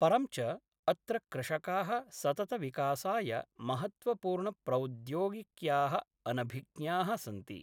परं च अत्र कृषका: सततविकासाय महत्त्वपूर्णप्रौद्योगिक्या: अनभिज्ञाः सन्ति।